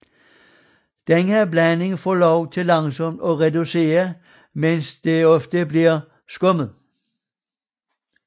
Denne blanding for lov til langsomt at reducere mens den ofte bliver skummet